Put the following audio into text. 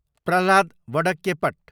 Prahlad Vadakkepat